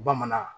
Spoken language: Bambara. Bamanan